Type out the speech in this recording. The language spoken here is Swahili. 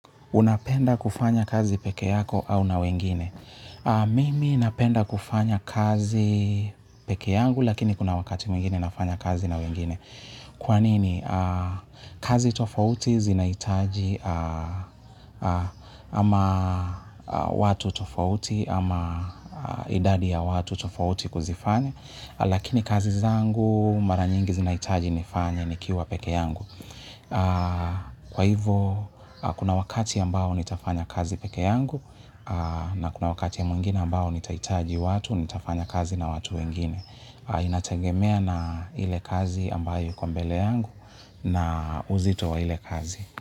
Unapenda kufanya kazi peke yako au na wengine? Mimi napenda kufanya kazi peke yangu lakini kuna wakati mwingine nafanya kazi na wengine. Kwanini? Kazi tofauti zinaitaji ama watu tofauti, ama idadi ya watu tofauti kuzifane, lakini kazi zangu mara nyingi zinaitaji nifanya nikiwa peke yangu. Kwa hivo kuna wakati ambao nitafanya kazi peke yangu. Na kuna wakati mwingine ambao nitaitaji watu, nitafanya kazi na watu wengine. Inatengemea na ile kazi ambayo iko mbele yangu na uzito wa ile kazi.